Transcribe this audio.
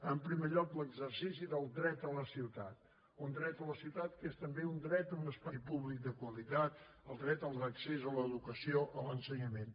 en primer lloc l’exercici del dret a la ciutat un dret a la ciutat que és també un dret a un espai públic de qualitat el dret a l’accés a l’educació a l’ensenyament